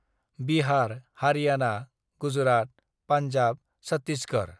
"Bihar, Haryana, Gujarat, Punjab, Chhattisgarh".